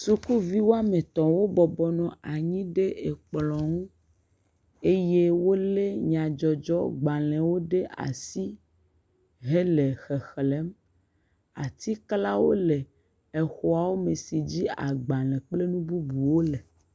Suku vi woame etɔ wò bɔbɔ nɔ anyi ɖe zikpui me la, woɖɔ gankui eye wonɔ sini kpɔm le sini xɔ la me be woƒe ŋku ma ɖe fũ nawò o.